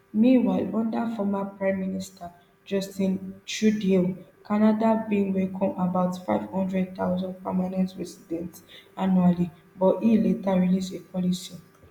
meanwhile under formerprime minister justin trudeau canada bin welcome about five hundred thousand permanent residents annually but e later release a policy